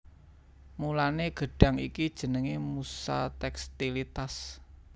Mulané gedhang iki jenengé musa tékstilitas